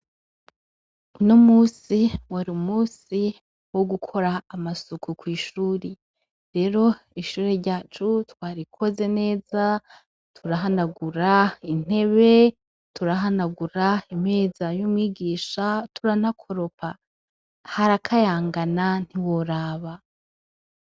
Uno musi wari umusi wo gukora amasuku kw'ishuri rero ishuri ryacu twarikoze neza turahanagura intebe turahanagura imeza y'umwigisha turanakoropa harakayangana ntiworaba.